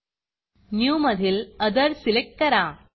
new मधील Otherअदर select करा